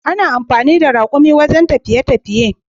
Ana amfani da rakumi a wajen tafiye tafiye.